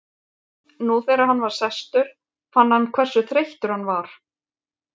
Nú þegar hann var sestur fann hann hversu þreyttur hann var.